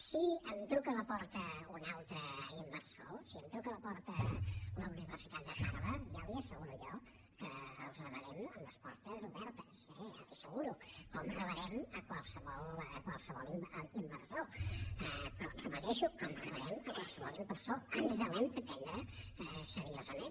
si em truca a la porta un altre inversor si em truca a la porta la universitat de harvard ja li asseguro jo que els rebrem amb les portes obertes ja li ho asseguro com rebrem a qualsevol inversor però ho repeteixo com rebrem a qualsevol inversor ens l’hem de prendre seriosament